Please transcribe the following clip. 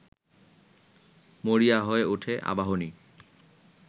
মরিয়া হয়ে ওঠে আবাহনী